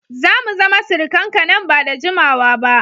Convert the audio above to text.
Za mu zama surukanku nan ba da jimawa ba